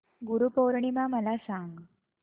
गुरु पौर्णिमा मला सांग